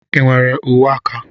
Ị nwere uwe aka?